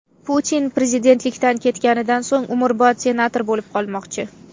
Putin prezidentlikdan ketganidan so‘ng umrbod senator bo‘lib qolmoqchi.